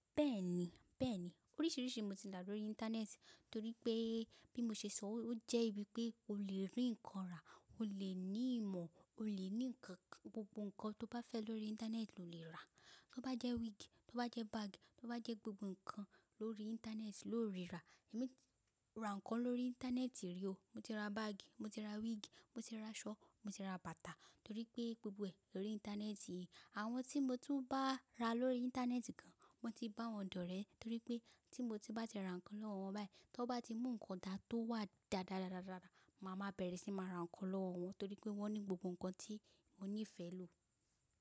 Bẹ́ẹ̀ni, bẹ́ẹ̀ni. Oríṣiríṣi mo ti dà lórí Íńtánẹ́ẹ̀tì torí pé bí mo ṣe sọ ó jẹ́ ibi pé o lè rí nǹkan rà, o lè ní ìmọ̀, o lè ní nǹkan kan, gbogbo nǹkan tó bá fẹ́ lórí Íńtánẹ́ẹ̀tì lo lè rà. Tó bá jẹ́ wíìgì, tó bá jẹ́ báàgì, tó bá jẹ́ gbogbo nǹkan lórí Íńtánẹ́ẹ̀tì lo le rà. Èmi ra nǹkan lórí Íńtánẹ́ẹ̀tì rí o. Mo ti ra báàgì, mo ti ra wíìgì, mo ti ra aṣọ, mo ti ra bàtà torí pé gbogbo ẹ̀ lórí Íńtánẹ́ẹ̀tì yìí. Àwọn tí mo tí bá ra lórí Íńtánẹ́ẹ̀tì kan, mo ti bá wọn dọ́rẹ̀ẹ́ torí pé tí mo bá ti ra nǹkan lọ́wọ́ wọn báyìí, tó bá ti mú nǹkan dá tó wà dáadáa, màá máa bẹ̀rẹ̀ sí máa ra nǹkan lọ́wọ́ wọn torí pé wọ́n ní gbogbo nǹkan tí mo ní ìfẹ́ lò.